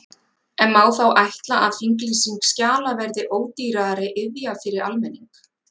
En má þá ætla að þinglýsing skjala verði ódýrari iðja fyrir almenning?